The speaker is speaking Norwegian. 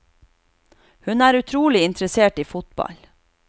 Hun er utrolig interessert i fotball.